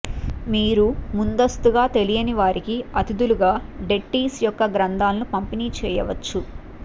మీరు ముందస్తుగా తెలియని వారికి అతిథులుగా డెట్టీస్ యొక్క గ్రంథాలను పంపిణీ చేయవచ్చు